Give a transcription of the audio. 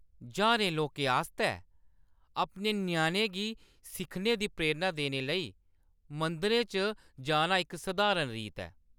ज्हारें लोकें आस्तै अपने ञ्याणें गी सिक्खने दी प्रेरणा देने लेई मंदिरें च जाना इक सधारण रीत ऐ।